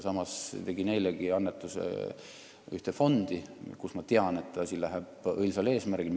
Samas tegin eilegi – mitte küll suure – annetuse ühte fondi, mille puhul ma tean, et nad tegutsevad õilsal eesmärgil.